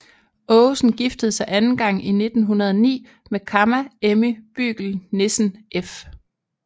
Aagesen giftede sig anden gang i 1909 med Kamma Emmy Bügel Nissen f